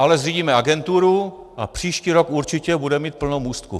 Ale zřídíme agenturu a příští rok určitě budeme mít plno můstků.